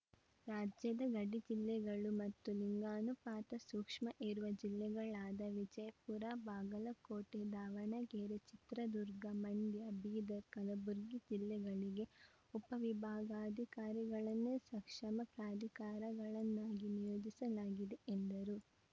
ರಾಜ್ಯದ ಗಡಿ ಜಿಲ್ಲೆಗಳು ಮತ್ತು ಲಿಂಗಾನುಪಾತ ಸೂಕ್ಷ್ಮ ಇರುವ ಜಿಲ್ಲೆಗಳಾದ ವಿಜಯಪುರ ಬಾಗಲಕೋಟೆ ದಾವಣಗೆರೆ ಚಿತ್ರದುರ್ಗ ಮಂಡ್ಯ ಬೀದರ್‌ ಕಲಬುರ್ಗಿ ಜಿಲ್ಲೆಗಳಿಗೆ ಉಪವಿಭಾಗಾಧಿಕಾರಿಗಳನ್ನೇ ಸಕ್ಷಮ ಪ್ರಾಧಿಕಾರಗಳನ್ನಾಗಿ ನಿಯೋಜಿಸಲಾಗಿದೆ ಎಂದರು